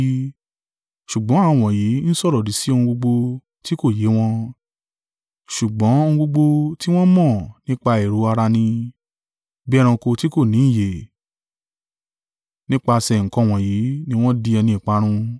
Ṣùgbọ́n àwọn wọ̀nyí n sọ̀rọ̀-òdì sí ohun gbogbo ti kò yé wọn: ṣùgbọ́n ohun gbogbo tí wọn mọ̀ nípa èrò ara ni, bí ẹranko tí kò ní ìyè, nípasẹ̀ nǹkan wọ̀nyí ni wọ́n di ẹni ìparun.